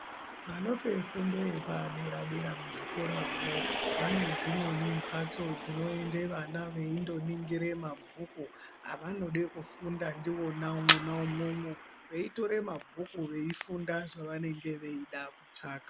Vanope fundo yepadera-dera muzvikoramwo vane dzimweni mbatso dzinoende vana veindoningire mabhuku avanode kufunda ndiwona mwona umwomwo, veitore mabhuku veifunda zvavanenge veida kutsvaka.